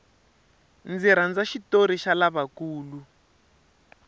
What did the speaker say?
ndzi rhandza xitori xa lava nkulu